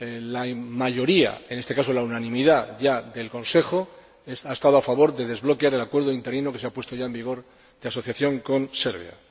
La mayoría en este momento unanimidad del Consejo ha estado a favor de desbloquear el acuerdo interino, que se ha puesto ya en vigor, de asociación con Serbia.